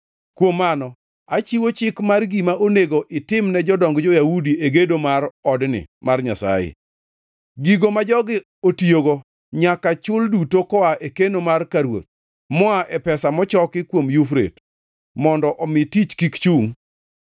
Kuom mano, achiwo chik mar gima onego itimne jodong jo-Yahudi e gedo mar odni mar Nyasaye: Gigo ma jogi otiyogo nyaka chul duto koa e keno mar ka ruoth, moa e pesa mochoki kuom Yufrate, mondo omi tich kik chungʼ.